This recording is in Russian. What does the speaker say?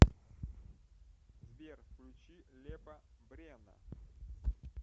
сбер включи лепа брена